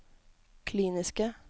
kliniske